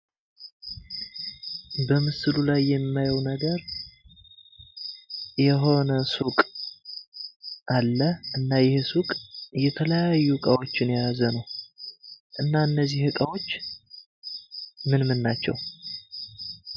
በምስሉ ላይ የማየው ነገር የሆነ ሱቅ አለ እና ይህ ሱቅ የተለያዩ እቃዎችን የያዘ ነው። እና እነዚህ ዕቃዎች ምንም ናቸው?